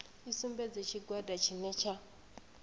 i sumbedze tshigwada tshine tsha